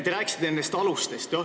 Te rääkisite nendest alustest.